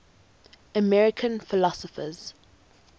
american philosophers